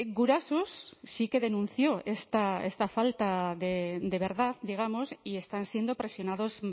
gurasos sí que denunció esta falta de verdad digamos y están siendo presionados